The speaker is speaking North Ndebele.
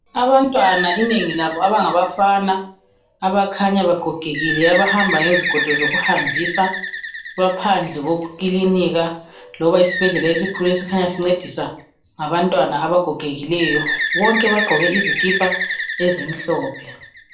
Abantwana inengi labo abangabafana abakhanya begogekile abahamba ngezigodo zoku hambisa, baphandle kwekilinka loba isibhedlela esikhulu esincedisa ngabantwana abagogekileyo bonke bagqoke izikipa ezimhlophe